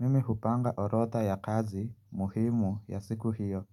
Mimi hupanga orodha ya kazi muhimu ya siku hiyo.